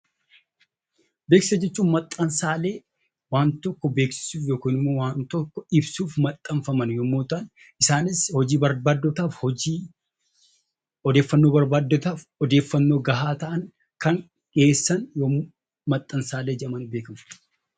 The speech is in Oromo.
Beeksisa jechuun maxxansaalee waan tokko beeksisuuf yookiin waan tokko ibsuuf maxxanfamani yommuu ta'an, hojii barbaaddotaaf hojii, odeeffannoo barbaaddotaaf odeeffannoo gahaa ta'an kan dhiyeessan Beeksisa yookiin maxxansaalee jedhamanii beekamu.